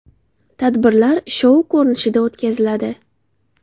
Tadbirlar shou ko‘rinishida o‘tkaziladi.